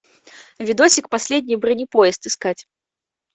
видосик последний бронепоезд искать